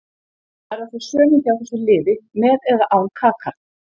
Verða þau sömu hjá þessu liði með eða án Kaka.